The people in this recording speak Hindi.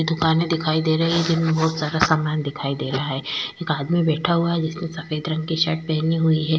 दुकानें दिखाई दे रही है जिनमें बहुत सारा सामान दिखाई दे रहा है एक आदमी बैठा हुआ है जिसने सफेद रंग की शर्ट पहनी हुई है।